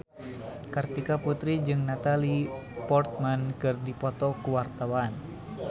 Kartika Putri jeung Natalie Portman keur dipoto ku wartawan